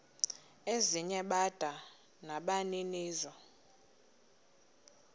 ezinye bada nabaninizo